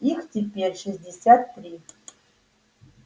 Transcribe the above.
их теперь шестьдесят три